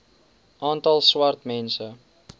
aantal swart mense